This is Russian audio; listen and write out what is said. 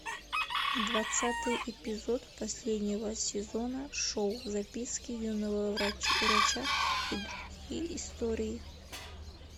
двадцатый эпизод последнего сезона шоу записки юного врача и другие истории